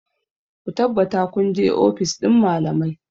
Ku tabbata kun je ofis ɗin malamai!